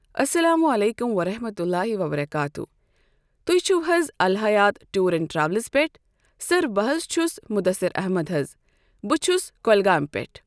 اسلام عليكم ورحمة الله وبركاته۔ تُہۍ چِھو حظ الحیات ٹور اینڈ ٹرٮ۪ولٕز پٮ۪ٹھ۔ سر بہٕ حظ چھُس مُدّثر احمد حظ۔ بہٕ چھُس کۄلگامہِ پٮ۪ٹھ۔ ۔